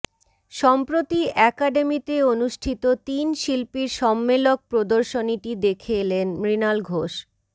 সম্প্রতি অ্যাকাডেমিতে অনুষ্ঠিত তিন শিল্পীর সম্মেলক প্রদর্শনীটি দেখে এলেন মৃণাল ঘোষ